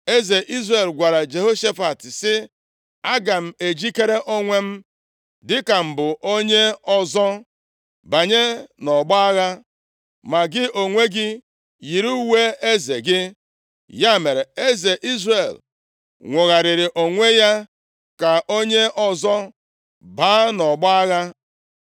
Eze Izrel gwara Jehoshafat, sị, “Aga m ejikere onwe m dịka m bụ onye ọzọ banye nʼọgbọ agha, ma gị onwe gị yiri uwe eze gị.” Ya mere, eze Izrel nwogharịrị onwe ya ka onye ọzọ baa nʼọgbọ agha.